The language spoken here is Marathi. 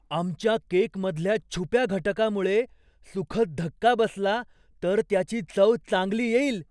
आमच्या केकमधल्या छुप्या घटकामुळे सुखद धक्का बसला तर त्याची चव चांगली येईल!